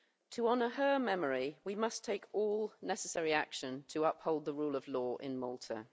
To honour her memory we must take all necessary action to uphold the rule of law in Malta.